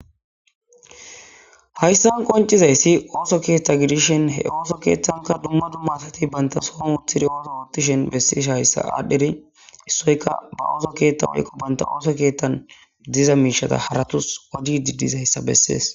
Hayssan qoncizayssi ooso keethta gidishen he ooso keeththanka dumma dummatati baynta sohon uttiri ooso ootishen bessesh hayssa aadhdheri issoyka ba ooso keetta walikqo banta ooso keettan diza miishata haratus wadi didizayssa bessees.